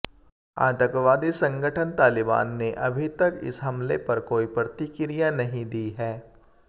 आतंकवादी संगठन तालिबान ने अभी तक इस हमले पर कोई प्रतिक्रिया नहीं दी है